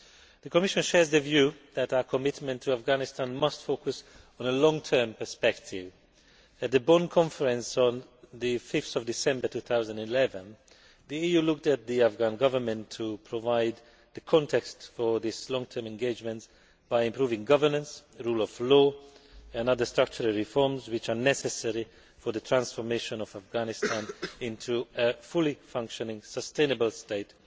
The Commission shares the view that our commitment to Afghanistan must focus on the long term perspective. At the Bonn Conference on 5 December 2011 the EU looked to the Afghan Government to provide the context for this long term engagement by improving governance and the rule of law and making other structural reforms which are necessary for the transformation of Afghanistan into a fully functioning, sustainable state